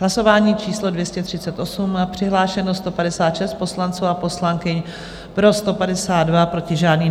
Hlasování číslo 238, přihlášeno 156 poslanců a poslankyň, pro 152, proti žádný.